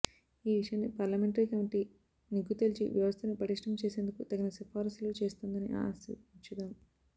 ఈ విషయాన్ని parliamentary committee నిగ్గు తేల్చి వ్యవస్థను పటిష్టం చేసేందుకు తగిన సిఫారసులు చేస్తుందని ఆశించుదాం